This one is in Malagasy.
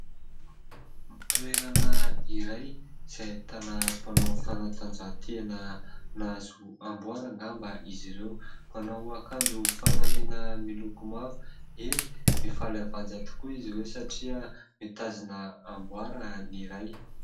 Toerana iray izay ahitana mpanao fanatanjahatena, nahazo amboara angamba izy ireo, manao akanjo fanamiana miloko mavo, eny, mifaly avanja tokoa izy ireo satria mitazona amboara ny iray.